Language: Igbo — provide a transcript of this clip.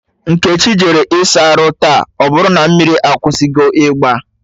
Nkechi jere ịsa arụ taa, ọbụrụ na mmiri akwụsịgo igba